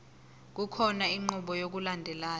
kukhona inqubo yokulandelayo